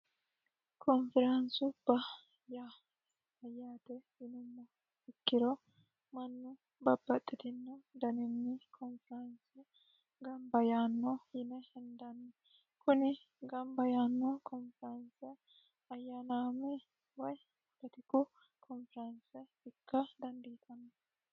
konfiraanisubba yaa yaate yinummo ikkiro mannu babbaxxitinno daninni koonfiraanse gamba yaanno yine henidanni kuni gamba yaanno koonfiranse ayyanaame way kultiku koonfiranse ikka dandiitanno